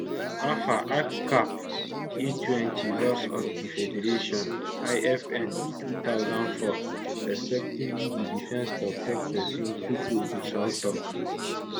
afa act cap a20 laws of di federation lfn 2004 respectively di defence toktok pesin tukur gusau tok